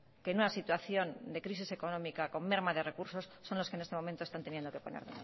que en una situación de crisis económica con merma de recursos son los que en este momento están teniendo que poner